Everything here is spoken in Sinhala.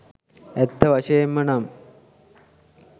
ඇත්ත වශයෙන්ම නම්